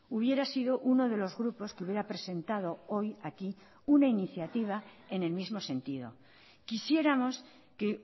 hubiera sido uno de los grupos que hubiera presentado hoy aquí una iniciativa en el mismo sentido quisiéramos que